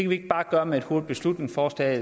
vi ikke bare gøre med et hurtigt beslutningsforslag